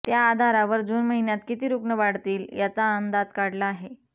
त्या आधारावर जून महिन्यात किती रुग्ण वाढतील याचा अंदाज काढला आहे